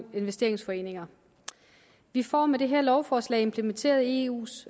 investeringsforeninger vi får med det her lovforslag implementeret eus